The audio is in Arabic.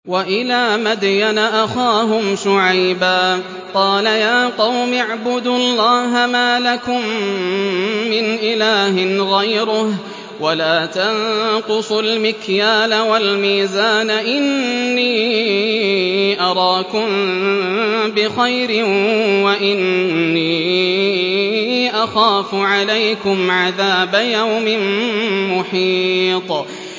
۞ وَإِلَىٰ مَدْيَنَ أَخَاهُمْ شُعَيْبًا ۚ قَالَ يَا قَوْمِ اعْبُدُوا اللَّهَ مَا لَكُم مِّنْ إِلَٰهٍ غَيْرُهُ ۖ وَلَا تَنقُصُوا الْمِكْيَالَ وَالْمِيزَانَ ۚ إِنِّي أَرَاكُم بِخَيْرٍ وَإِنِّي أَخَافُ عَلَيْكُمْ عَذَابَ يَوْمٍ مُّحِيطٍ